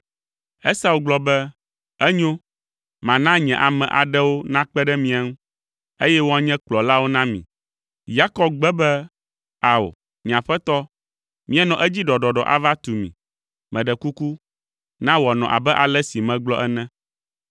Esau gblɔ be, “Enyo, mana nye ame aɖewo nakpe ɖe mia ŋu, eye woanye kplɔlawo na mi.” Yakob gbe be, “Ao, nye aƒetɔ, míanɔ edzi ɖɔɖɔɖɔ ava tu mi. Meɖe kuku, na wòanɔ abe ale si megblɔ ene.”